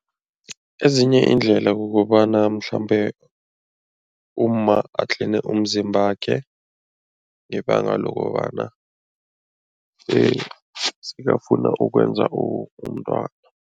Ezinye iindlela kukobana mhlambe umma atline umzimbakhe ngebanga lokobana sekafuna ukwenza umntwana.